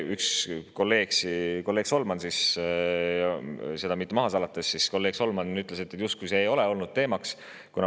Üks kolleeg, kolleeg Solman siis – seda mitte maha salates – ütles, et see justkui ei ole olnud teemaks.